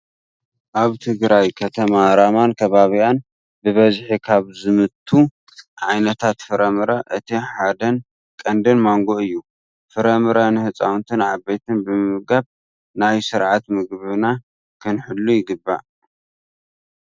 ኣብ ትግራይ ከተማ ራማን ከባቢኣን ብበዝሒ ካብ ዝምቱ ዓይነታት ፍራምረ እቲ ሓደን ቀንድን ማንጎ እዩ። ፍራምረ ንህፃውንትን ዓበይትን ብምምጋብ ናይ ስርዓተ ምግብና ክንህሉ ይግባእ።